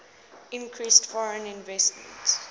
increased foreign investment